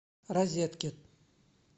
розеткед